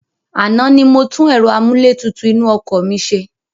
Àná ni mo tún ẹ̀rọ amúlétutù inú ọkọ̀ mi ṣe.